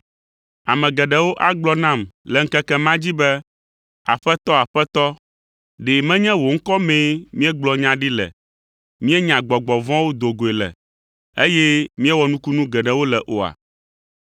Ame geɖewo agblɔ nam le ŋkeke ma dzi be, ‘Aƒetɔ, Aƒetɔ, ɖe menye wò ŋkɔ mee míegblɔ nya ɖi le, míenya gbɔgbɔ vɔ̃wo do goe le, eye míewɔ nukunu geɖewo le oa?’